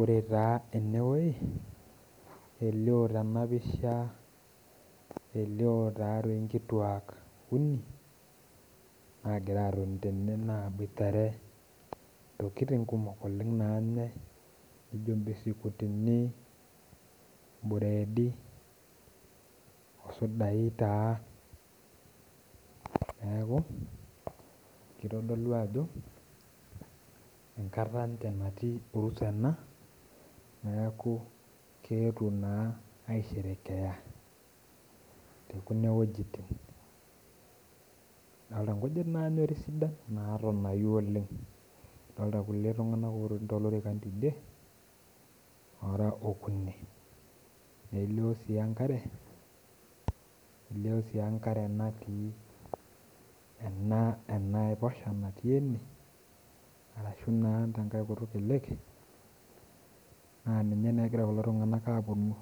Ore taa enewoi, elio tenapisha elio tatoi nkituak uni, nagira atoni tene naboitare intokiting kumok oleng nanyai nijo bisikutini, ibredi, osudai taa. Neeku, kitodolu ajo enkata enche natii orusa ena, neeku keetuo naa aisherekea tekuna wojitin. Adolta nkujit nanyori sidan natonayu oleng. Adolta irkulie tung'anak otoni tolorikan tidie, ora okuni. Nelio si enkare, nelio si enkare natii enaiposha natii ene, arashu naa enankae kutu e lake, naa ninye naa egira kulo tung'anak aponu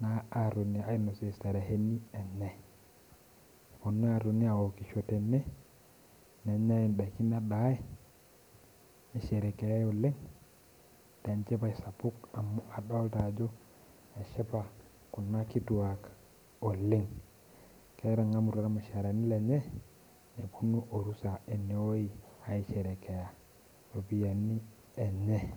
naa atonie ainosie shereheni enye. Neponu atoni aokisho tene, nenyai idaikin nedai, nisherekeai oleng, tenchipai sapuk amu adolta ajo eshipa kuna kituak oleng. Elee etang'amutua irmushaarani lenye, neponu orusa enewoi aisherekea ropiyiani enye.